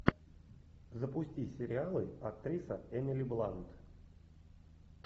запусти сериалы актриса эмили блант